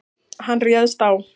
Hann réðst á